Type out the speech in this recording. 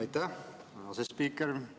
Aitäh, asespiiker!